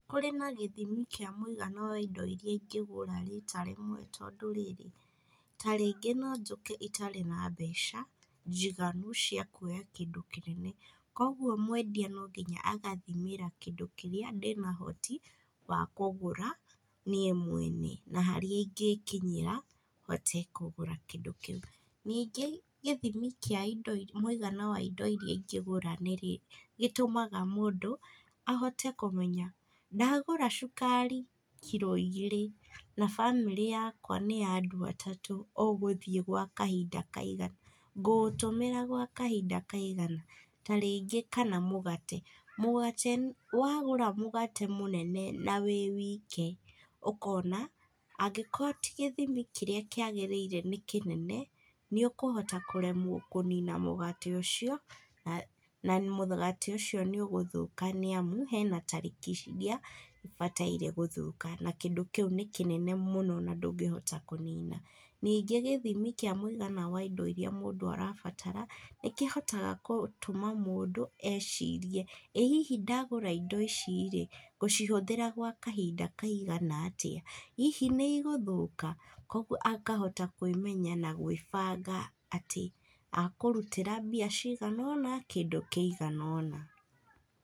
Kũrĩ na gĩthimi kĩa mũigana wa indo iria ingĩgũra rita rĩmwe tondũ rĩrĩ, ta rĩngĩ no njũke itarĩ na mbeca njiganu cia kuoya kĩndũ kĩnene, kogwo mwendia no nginya agathimĩra kĩndũ kĩrĩa ndĩna ũhoti wa kũgũra niĩ mwene, na harĩ ingĩkinyĩra hote kũgũra kĩndũ kĩu. Ningĩ gĩthimi kĩa indo mũigana wa indo irĩa ingĩgũra nĩrĩ, nĩgĩtũmaga mũndũ ahote kũmenya, ndagũra cukari kiro igĩrĩ na bamĩrĩ yakwa nĩ ya andũ atatũ, ũgũthiĩ gwa kahinda kaigana, ngũũtũmĩra gwa kahinda kaigana. Ta rĩngĩ kana mũgate, mũgate wagũra mũgate mũnene na wĩ wike, ũkona angĩkorwo ti gĩthimi kĩrĩa kĩagĩrĩire nĩ kĩnene, nĩũkũhota kũremwo kũnina mũgate ũcio na na mũgate ũcio nĩũgũthũka, nĩamu hena tarĩki iria ũbataire gũthũka na kĩndũ kĩu nĩ kĩnene mũno na ndũngĩhota kũnina. Ningĩ gĩthimi kĩa mũigana wa indo iria mũndũ arabatara, nĩkĩhotaga kũtũma mũndũ ecirie, ĩ hihi ndagũra indo ici-rĩ, ngũcihũthĩra gwa kahinda kaigana atĩa, hihi nĩ igũthũka, kuogo akahota kwĩmenya na gwĩbanga atĩ akũrutĩra mbia cigana ũna, kĩndũ kĩigana ũna.